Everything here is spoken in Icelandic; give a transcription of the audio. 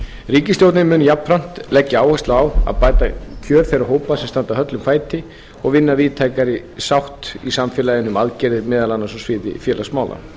ríkisstjórnin mun jafnframt leggja áherslu á að bæta kjör þeirra sem standa höllum fæti og vinna að víðtækari sátt í samfélaginu um aðgerðir meðal annars á sviði félagsmála